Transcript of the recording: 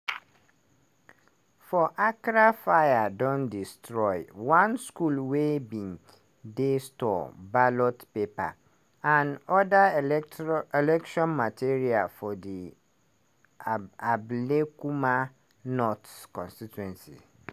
for accra fire don destroy one school wey bin dey store ballot papers and oda electro election materials for di ablekuma north constituency.